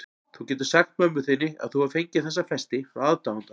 Þú getur sagt mömmu þinni að þú hafir fengið þessa festi frá aðdáanda.